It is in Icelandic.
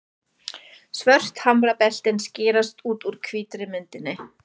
Svört hamrabeltin skerast út úr hvítri myndinni.